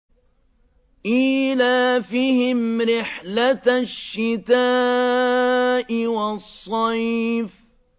إِيلَافِهِمْ رِحْلَةَ الشِّتَاءِ وَالصَّيْفِ